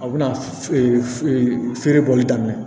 A bɛna feere bɔli daminɛ